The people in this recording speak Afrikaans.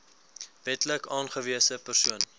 wetlik aangewese persoon